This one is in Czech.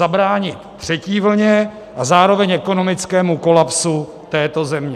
Zabránit třetí vlně a zároveň ekonomickému kolapsu této země.